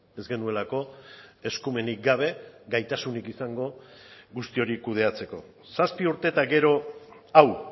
ez genuelako eskumenik gabe gaitasunik izango guzti hori kudeatzeko zazpi urte eta gero hau